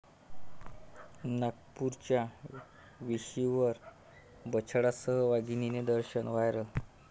नागपूरच्या वेशीवर बछड्यांसह वाघिणीचे दर्शन, व्हायरल